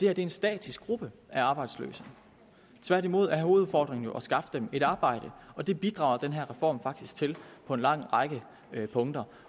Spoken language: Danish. er en statisk gruppe af arbejdsløse tværtimod er hovedudfordringen jo at skaffe dem et arbejde og det bidrager den her reform faktisk til på en lang række punkter